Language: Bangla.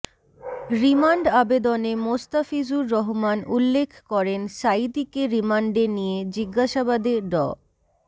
রিমান্ড আবেদনে মোস্তাফিজুর রহমান উল্লেখ করেন সাঈদীকে রিমান্ডে নিয়ে জিজ্ঞাসাবাদে ড